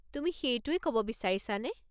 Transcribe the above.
তুমি সেইটোৱেই ক'ব বিচাৰিছানে?